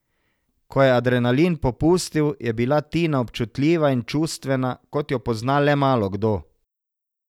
Ko je adrenalin popustil, je bila Tina občutljiva in čustvena, kot jo pozna le malokdo.